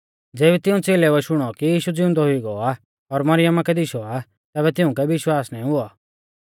ज़ेबी तिऊं च़ेलेउऐ शुणौ कि यीशु ज़िउंदौ हुई गौ आ और मरियमा कै दिशौ आ तैबै तिउंकै विश्वास ना हुऔ